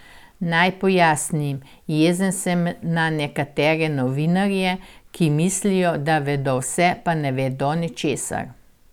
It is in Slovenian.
Naj pojasnim, jezen sem na nekatere novinarje, ki mislijo, da vedo vse, pa ne vedo ničesar.